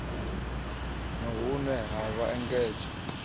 na hunwe he ha engedzwa